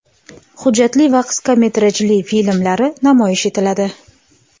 hujjatli va qisqa metrajli filmlari namoyish etiladi.